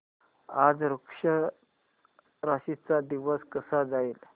आज वृश्चिक राशी चा दिवस कसा जाईल